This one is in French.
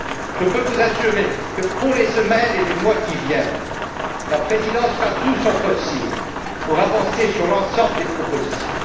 Je peux vous assurer que, dans les semaines et les mois à venir, la présidence fera tout son possible pour avancer sur l'ensemble des propositions.